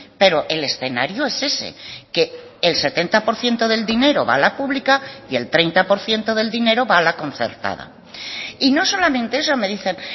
pero el escenario es ese que el setenta por ciento del dinero va a la pública y el treinta por ciento del dinero va a la concertada y no solamente eso me dicen